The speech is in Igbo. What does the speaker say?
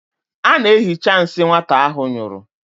Ọ na-ehicha nsị nwata ahụ nyụrụ.